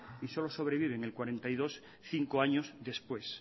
y solo sobreviven el cuarenta y dos por ciento cinco años después